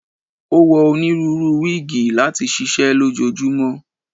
o wọ oniruuru wigi lati ṣiṣẹ lojoojumọ.